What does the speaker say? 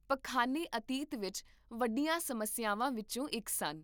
ਪਖਾਨੇ ਅਤੀਤ ਵਿੱਚ ਵੱਡੀਆਂ ਸਮੱਸਿਆਵਾਂ ਵਿੱਚੋਂ ਇੱਕ ਸਨ